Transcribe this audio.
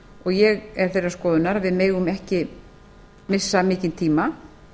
og ég er þeirrar skoðunar að við megum ekki missa mikinn tíma